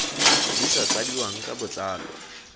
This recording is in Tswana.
di sa tladiwang ka botlalo